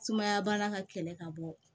Sumaya baara ka kɛlɛ ka bɔ